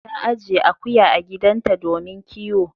Ta ajiye akuya a gidanta domin kiwo.